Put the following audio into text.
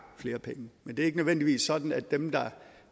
flere penge men det er ikke nødvendigvis sådan at dem der